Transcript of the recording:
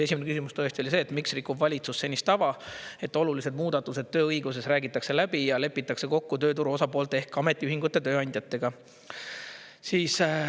Esimene küsimus tõesti oli see: "Miks rikub valitsus senist tava, et olulised muudatused tööõiguses räägitakse läbi ja lepitakse kokku tööturu osapoolte ehk ametiühingute ja tööandjatega?